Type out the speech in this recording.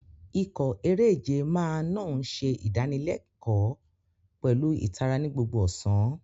Ikọ̀ eré-ìje máa naa ń ṣe ìdánilẹ́kọ̀ọ́ pẹ̀lú ìtara ní gbogbo ọ̀sán.